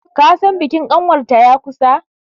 kasan bikin kanwarta ya kusa!